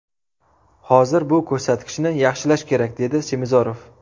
Hozir bu ko‘rsatkichni yaxshilash kerak”, dedi Semizorov.